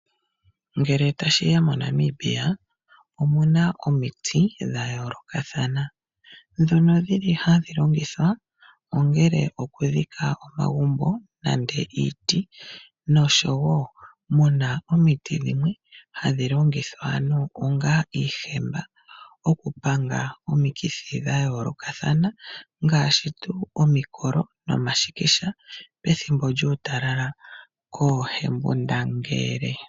Ngele tashi ya moNamibia omu na omiti dha yoolokathana ndhono dhi li hadhi longithwa okudhika omagumbo nenge iiti noshowo mu na omiti dhimwe hadhi longithwa onga iihemba okupanga omikithi dha yoolokathana ngaashi omikolo nomashikisha pethimbo lyuutalala koohembundangele.